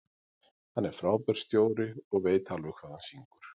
Hann er frábær stjóri og veit alveg hvað hann syngur.